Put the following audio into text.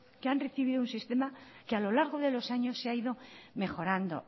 que han recibido un sistema que a lo largo de los años se ha ido mejorando